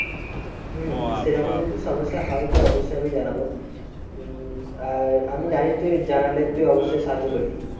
হম সেরকম যদি সমস্যা হয় তো অবশ্যই আমি জানাবো। উম আর আমি জানি তুই জানালে তুই অবশ্যই সাহায্য করবি।